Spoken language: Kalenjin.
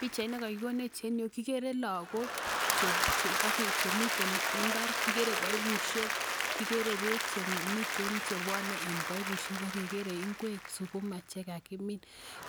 Pichainit ne kakikonech en yu kikere lagook chemiten imbar, kikere paipushek, kikere peek chemiten chepwone en paipushek ak kegere ngwek, sukuma, che ka kimin.